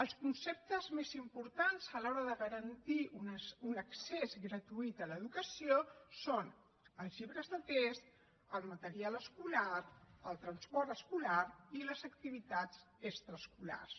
els conceptes més importants a l’hora de garantir un accés gratuït a l’educació són els llibres de text el material escolar el transport escolar i les activitats extraescolars